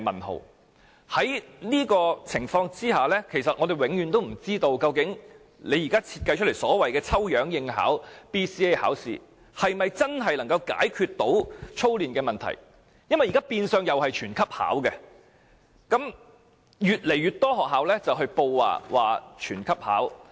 在這種情況下，我們永遠也不知道，究竟當局現時設計的所謂抽樣應考 BCA， 是否真的能夠解決操練的問題，因為現時變相同樣是全級學生均要考試，也越來越多學校上報要全級學生考試。